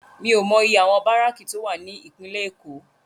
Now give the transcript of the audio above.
Mi ó mò iyé áwòn báráki tó wá ni Ipinlè Ékó